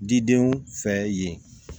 Didenw fɛ yen